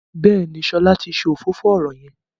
Béèni Shola tí ṣe òfófó ọrọ yén.